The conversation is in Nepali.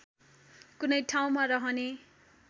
कुनै ठाउँमा रहने